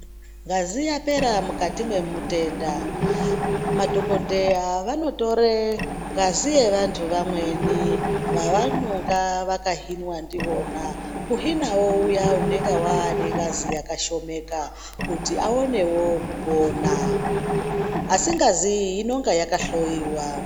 Ngazi yapera mukati mwemutenda madhokodheya vanotore ngazi yevantu vamweni vavanonga vakahinwa ndivona kuhinawo uya unenga anengazi yakashomeka kuti aone kupona, asi ngazi iyo inenge yakahloiwa.